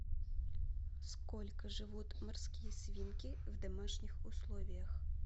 сколько живут морские свинки в домашних условиях